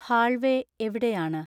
hallway എവിടെയാണ്